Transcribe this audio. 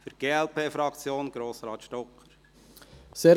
Für die glp-Fraktion: Grossrat Stocker.